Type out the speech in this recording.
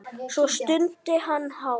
Svo stundi hann hátt.